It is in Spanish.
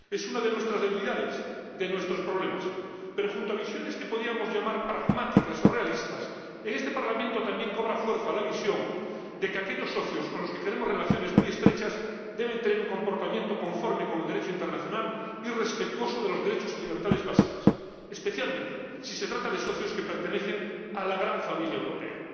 Es una de nuestras debilidades, de nuestros problemas, pero junto a visiones que podríamos llamar pragmáticas o realistas, en este Parlamento también cobra fuerza la visión de que aquellos socios con los que queremos relaciones muy estrechas deben tener un comportamiento conforme con el Derecho internacional y respetuoso de los derechos y libertades básicas, especialmente si se trata de socios que pertenecen a la gran familia europea.